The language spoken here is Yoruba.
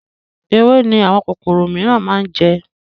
Ewé ni àwọn kòkòrò miran máa ń jẹ